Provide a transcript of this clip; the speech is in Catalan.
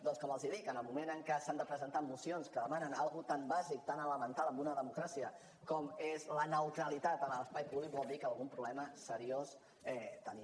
doncs com els dic en el moment en què s’han de presentar mocions que demanen una cosa tan bàsica tan elemental en una democràcia com és la neutralitat en l’espai públic vol dir que algun problema seriós tenim